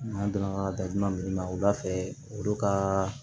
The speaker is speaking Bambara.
N'an donna datugulan minnu na wulafɛ olu ka